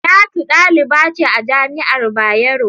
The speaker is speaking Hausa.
Talatu daliba ce a jami'ar Bayero.